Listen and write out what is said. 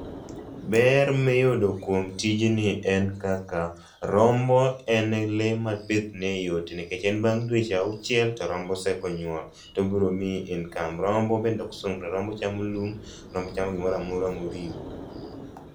Ber miyudo kuom tijini en kaka rombo en lee ma pith ne yot nikech en bang dweche auchiel to rombo osenyuol to obiro miyi income. Rombo bende oksungre, rombo chamo lum, rombo chamo gimoramora moriwo.